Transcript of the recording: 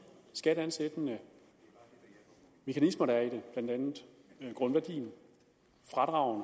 skatteansættende mekanismer der er i det blandt andet grundværdien og